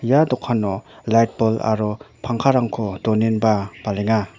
ia dokano lait bol aro pangkarangko donenba palenga.